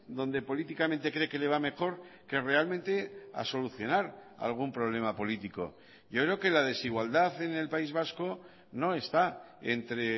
donde políticamente cree que le va mejor que realmente a solucionar algún problema político yo creo que la desigualdad en el país vasco no está entre